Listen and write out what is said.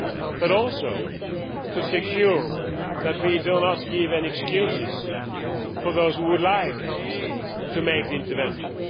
But also to secure that we do not give any excuses for those who would like to intervene.